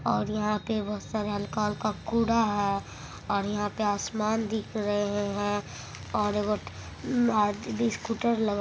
और यहां पे हल्का-हल्का कूड़ा है और यहां पे आसमान दिख रहे है और एगो आदमी स्कूटर लगा---